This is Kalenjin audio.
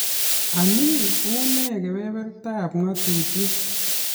Anii, unee kebebertab ng'atutiet?